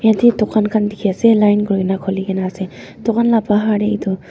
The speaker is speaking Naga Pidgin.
yatae dukan khan dikhiase line kurina khuli kaenase dukan la bhar tae edu.